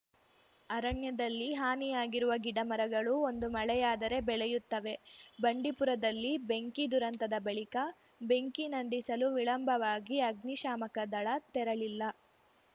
ಅರಣ್ಯದಲ್ಲಿ ಹಾನಿಯಾಗಿರುವ ಗಿಡಮರಗಳು ಒಂದು ಮಳೆಯಾದರೆ ಬೆಳೆಯುತ್ತವೆ ಬಂಡಿಪುರದಲ್ಲಿ ಬೆಂಕಿ ದುರಂತದ ಬಳಿಕ ಬೆಂಕಿ ನಂದಿಸಲು ವಿಳಂಬವಾಗಿ ಅಗ್ನಿಶಾಮಕ ದಳ ತೆರಳಿಲ್ಲ